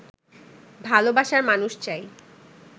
ভালবাসার মানুষ চাই